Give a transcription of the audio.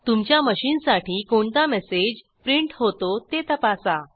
तुमच्या मशीनसाठी कोणता मेसेज प्रिंट होतो ते तपासा